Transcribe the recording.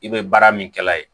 I bɛ baara min kɛ a ye